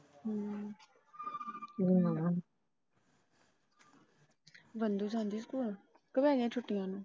ਜਾਂਦੀ ਹੂ ਸਕੂਲ ਕੇ ਹੋ ਗਇਆ ਛੁੱਟੀਆਂ ਉਹਨੂੰ।